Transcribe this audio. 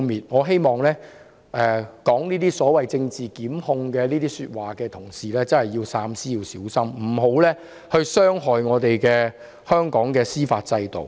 我希望說這是政治檢控的同事真的要三思和小心，不要傷害香港的司法制度。